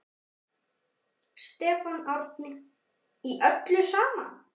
Stefán Árni: Í öllu saman?